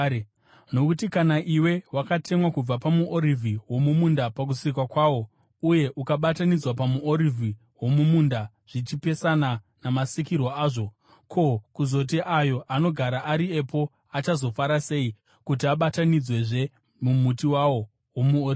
Nokuti, kana iwe wakatemwa kubva pamuorivhi womumunda pakusikwa kwawo, uye ukabatanidzwa pamuorivhi womumunda zvichipesana namasikirwo azvo, ko, kuzoti ayo agara ari epo achazofara sei kuti abatanidzwezve mumuti wawo womuorivhi?